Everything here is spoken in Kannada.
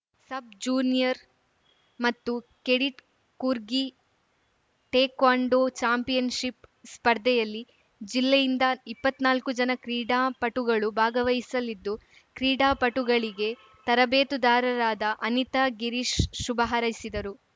ಸಬ್‌ ಜೂನಿಯರ್‌ ಮತ್ತು ಕೆಡಿಟ್‌ ಕೂರ್ಗಿ ಟೇಕ್ವಾಂಡೋ ಚಾಂಪಿಯನ್‌ಶಿಪ್‌ ಸ್ಪರ್ಧೆಯಲ್ಲಿ ಜಿಲ್ಲೆಯಿಂದ ಇಪ್ಪತ್ನಾಲ್ಕು ಜನ ಕ್ರೀಡಾಪಟುಗಳು ಭಾಗವಹಿಸಲಿದ್ದು ಕ್ರೀಡಾಪಟುಗಳಿಗೆ ತರಬೇತುದಾರರಾದ ಅನಿತಾ ಗಿರೀಶ್‌ ಶುಭ ಹಾರೈಸಿದರು